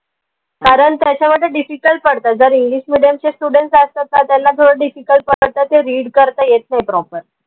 कारन त्याच्यामध्ये difficult पडत जर english medium चे students आहेत तर त्यांला थोडं difficult पडत ते read करता येत नाई proper